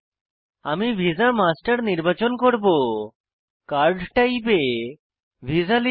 আমি visaমাস্টার নির্বাচন করব কার্ড টাইপ এ ভিসা লিখব